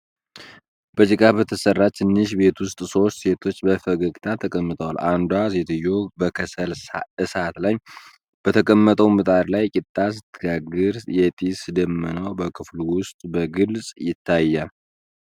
በጭቃ በተሰራች ትንሽ ቤት ውስጥ ሦስት ሴቶች በፈገግታ ተቀምጠዋል። አንዷ ሴትዮ በከሰል እሳት ላይ በተቀመጠው ምጣድ ላይ ቂጣ ስትጋግር፣ የጢስ ደመናም በክፍሉ ውስጥ በግልጽ ይታያል።